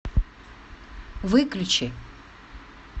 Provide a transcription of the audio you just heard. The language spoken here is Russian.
выключи